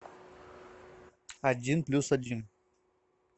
один плюс один